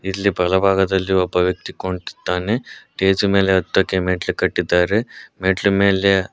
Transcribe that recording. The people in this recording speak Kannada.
ಇಲ್ಲಿ ಬಲಭಾಗದಲ್ಲಿ ಒಬ್ಬ ವ್ಯಕ್ತಿ ಕುಂತಿದ್ದಾನೆ ಸ್ಟೇಜ್ ಮೇಲೆ ಹತ್ತಕೆ ಮೆಟ್ಲು ಕಟ್ಟಿದ್ದಾರೆ ಮೆಟ್ಲು ಮೇಲೆ --